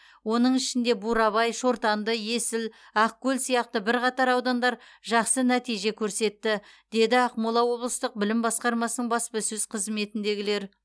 оның ішінде бурабай шортанды есіл ақкөл сияқты бірқатар аудандар жақсы нәтиже көрсетті деді ақмола облыстық білім басқармасының баспасөз қызметіндегілер